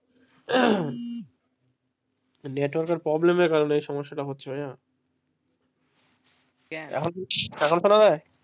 Network এর problem কারনে এই সমস্যা টা হচ্ছে এখন শোনা যাই.